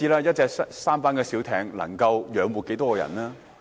一隻舢舨小艇能夠養活多少人呢？